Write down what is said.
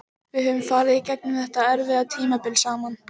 Við höfum farið í gegnum þetta erfiða tímabil saman.